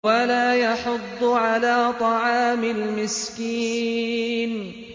وَلَا يَحُضُّ عَلَىٰ طَعَامِ الْمِسْكِينِ